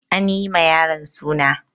An yi ma yaron suna.